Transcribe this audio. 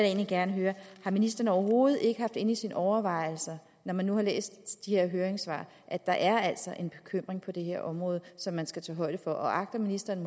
egentlig gerne høre har ministeren overhovedet ikke haft inde i sine overvejelser når man har læst de høringssvar at der altså er en bekymring på det her område som man skal tage højde for agter ministeren